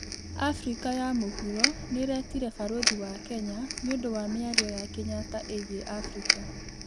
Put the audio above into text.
Afrĩka ya mũhũro nĩĩretĩre mbarũthĩ wa Kenya nĩundũ wa mĩarĩo ya Kenyatta ĩgĩe Afrika